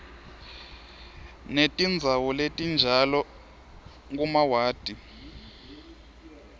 netindzawo letinjalo kumawadi